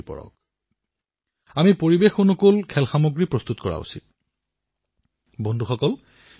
এই মাহৰ আৰম্ভণিতে দেশৰ যুৱচামৰ সন্মুখত এক এপ উদ্ভাৱন প্ৰত্যাহ্বান প্ৰস্তুত কৰা হৈছিল